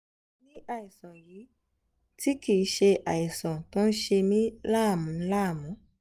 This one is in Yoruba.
mo ní àìsàn yìí tí kì í ṣe àìsàn tó ń ṣe mí láàmú láàmú